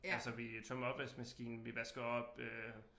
Altså vi tømmer opvaskemaskinen vi vasker op øh